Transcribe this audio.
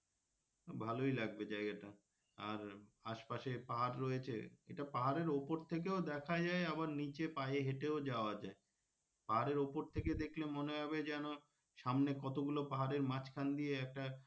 ভালোই লাগবে জায়গা টা আর আশপাশে পাহাড় রয়েছে এটা পাহাড়ের উপর থেকেও দেখা যায় আবার নিচে পায়ে হেঁটেও যাওয়া যায় পাহাড়ের উপর থেকে দেখলে মনে হবে যেন সামনে কত গুলো পাহাড়ের মাঝখান দিয়ে একটা,